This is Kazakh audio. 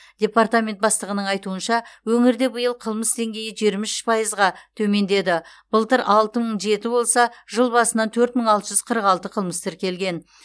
департамент бастығының айтуынша өңірде биыл қылмыс деңгейі жиырма үш пайызға төмендеді былтыр алты мың жеті болса жыл басынан төрт мың алты жүз қырық алты қылмыс тіркелген